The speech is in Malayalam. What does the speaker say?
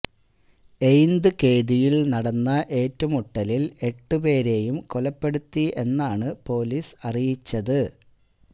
എയിന്ത്കേദിയിൽ നടന്ന ഏറ്റുമുട്ടലിൽ എട്ട് പേരേയും കൊലപ്പെടുത്തി എന്നാണ് പൊലീസ് അറിയിച്ചത്